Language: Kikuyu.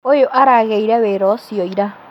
ũyũ aragĩire wĩra ũcio ira